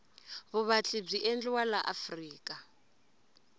vuvatli bwi endliwa laafrika